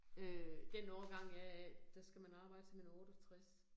Øh den årgang jeg er, der skal man arbejde til man er 68